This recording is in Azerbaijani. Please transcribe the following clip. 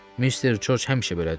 "Mister Corc həmişə belədir.